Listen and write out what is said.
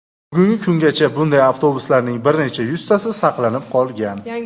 Bugungi kungacha bunday avtobuslarning bir necha yuztasi saqlanib qolgan.